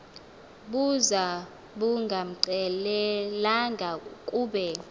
buza bungamxelelanga kube